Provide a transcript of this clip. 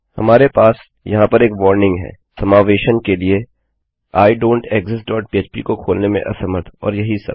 हमारे पास यहाँ पर एक और वार्निंग है समावेशन के लिए आइडोंटेक्सिस्ट डॉट पह्प को खोलने में असमर्थ और यही सब